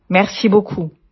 thank you very much